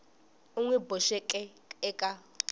u n wi boxeke eka